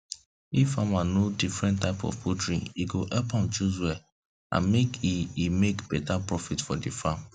if farmer know different type of poultry e go help am choose well and make e e make better profit for the farm